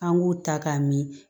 An b'u ta k'a min